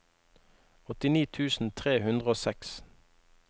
åttini tusen tre hundre og seks